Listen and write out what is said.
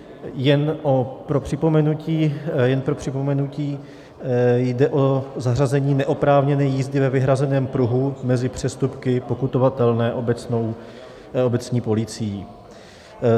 Jen pro připomenutí - jde o zařazení neoprávněné jízdy ve vyhrazeném pruhu mezi přestupky pokutovatelné obecní policií.